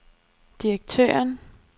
direktøren